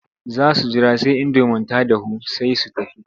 Za su jira sai indomin ta dahu sai su tafi.